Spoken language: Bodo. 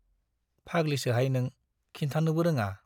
फाग्लिसोहाय नों, खिन्थानोबो रोङा।